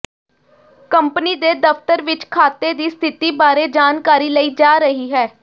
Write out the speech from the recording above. company ਦੇ ਦਫ਼ਤਰ ਵਿਚ ਖਾਤੇ ਦੀ ਸਥਿਤੀ ਬਾਰੇ ਜਾਣਕਾਰੀ ਲਈ ਜਾ ਰਹੀ ਹੈ